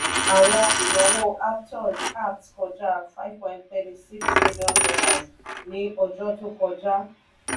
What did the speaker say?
àwọn ìnáwó aptos apt kọjá ive point thirty six million dollars ní ọjọ́ tó kọjá.